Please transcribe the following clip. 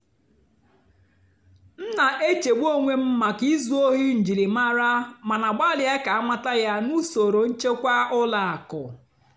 m nà-èchègbú ónwé m màkà ízú óhì njìlìmárá màná gbàlị́à kà àmàtà yá nà ùsòrò nchèkwà ùlọ àkụ́.